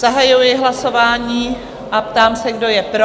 Zahajuji hlasování a ptám se, kdo je pro?